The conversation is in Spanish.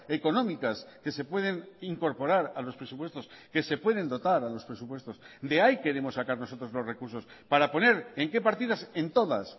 económicas que se pueden incorporar a los presupuestos que se pueden dotar a los presupuestos de ahí queremos sacar nosotros los recursos para poner en qué partidas en todas